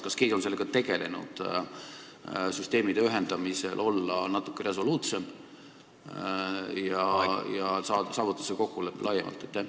Kas keegi on sellega tegelenud, kuidas võiks süsteemide ühendamisel olla natuke resoluutsem ja saavutada see kokkulepe laiemalt?